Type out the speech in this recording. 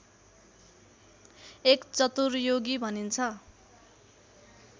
एक चतुर्युगी भनिन्छ